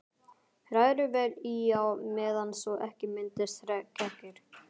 Hrærið vel í á meðan svo ekki myndist kekkir.